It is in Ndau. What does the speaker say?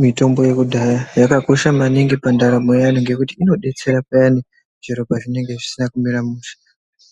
Mitombo yekudhaya yakakosha maningi pandaramo yeantu ngokuti inodetsera payani zviro pazvinenge zvisina kumira mushe